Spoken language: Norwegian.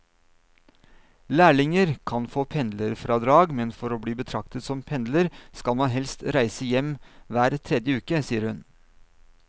Lærlinger kan få pendlerfradrag, men for å bli betraktet som pendler skal man helst reise hjem hver tredje uke, sier hun.